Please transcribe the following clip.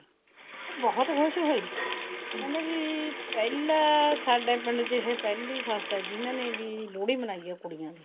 ਉਹ ਬਹੁਤ ਖੁਸ਼ ਹੋਈ ਕਹਿੰਦੀ ਵੀ ਕੱਲ ਸਾਡੇ ਪਿੰਡ ਚ ਇਹ ਪਹਿਲੀ ਹੈ ਵੀ ਜਿਹਨੇ ਲੋਹੜੀ ਮਨਾਈ ਹੈ ਕੁੜੀਆਂ ਦੀ